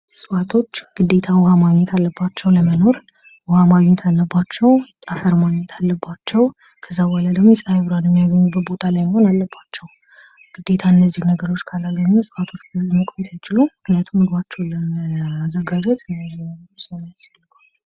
እፅዋቶች ግዴታ ውሃ ማግኘት አለባቸው ለመኖር ውሀ ማግኘት አለባቸው ፣ አፈር ማግኘት አለባቸው ። ከዛ በኋላ ደግሞ የፀሐይ ብርሃን የሚያገኝበት ቦታ ላይ መሆን አለባቸው ። ግዴታ እነዚህን ነገሮች ካላገኙ እፅዋቶች ብዙ መቆየት አይችሉም ምክንያቱም ምግባቸውን ለማዘጋጀት እነዚህ ነገሮች ስለሚያስፈልጉ